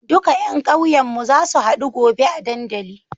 Duka yan ƙauyen mu zasu hadu gobe a dandali